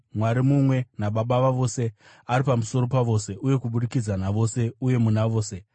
Mwari mumwe naBaba vavose, ari pamusoro pavose, uye kubudikidza navose, uye muna vose.